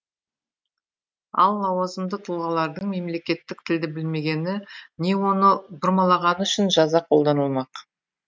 ал лауазымды тұлғалардың мемлекеттік тілді білмегені не оны бұрмалағаны үшін жаза қолданылмақ